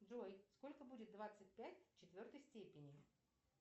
джой сколько будет двадцать пять в четвертой степени